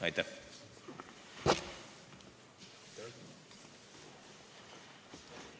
Aitäh!